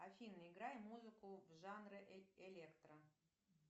афина играй музыку в жанре электро